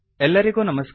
ಎಲ್ಲರಿಗೂ ನಮಸ್ಕಾರ